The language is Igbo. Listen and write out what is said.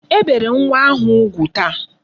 E bere nwa ahụ ugwu taa.